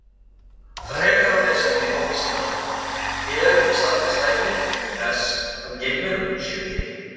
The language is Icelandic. Frekara lesefni á Vísindavefnum Eru til staðfest dæmi þess að geimverur séu til?